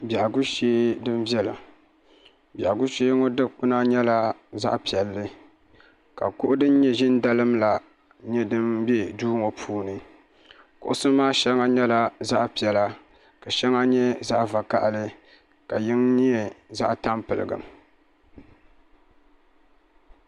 Biɛhigu shee dini viɛla biɛhigu shee ŋɔ dukpuna nyɛla zaɣi piɛlli ka kuɣu dini nyɛ zi ni dalim la nyɛ dini bɛ duu ŋɔ puuni kuɣusi maa shɛŋa yɛla zaɣi piɛlla ka shɛŋa nyɛ zaɣi vakahali ka yini nyɛ zaɣi tampiligim.